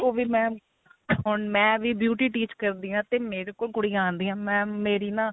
ਕੋ ਵੀ mam ਹੁਣ ਮੈਂ ਵੀ beauty teach ਕਰਦੀ ਆ ਤੇ ਮੇਰੇ ਕੋਲ ਕੁੜੀਆ ਆਂਦੀਆ mam ਮੇਰੀ ਨਾ